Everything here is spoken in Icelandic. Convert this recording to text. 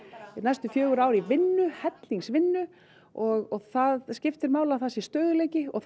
næstu fjögur ár í vinnu hellings vinnu og það skiptir máli að það sé stöðugleiki og